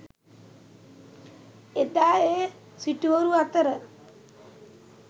එදා ඒ සිටුවරු අතර